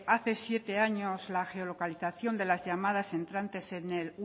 hace siete años la geolocalización de las llamadas entrantes al